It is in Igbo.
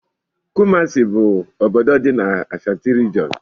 Kumasi bu obodo dị n'Ashantí regionú.